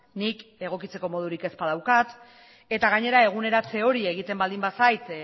nik egokitzeko modurik ez badaukat eta gainera eguneratze hori egiten baldin bazait